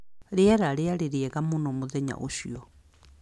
Rĩera rĩarĩ rĩega mũno mũthenya ũcio